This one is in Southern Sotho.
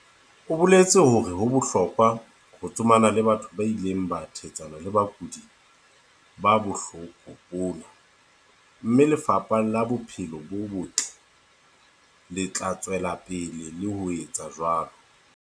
o boletse hore ho bohlokwa ho tsomana le batho ba ileng ba thetsana le bakudi ba bohloko bona, mme Lefapha la Bophelo bo Botle le tla tswela pele le ho etsa jwalo.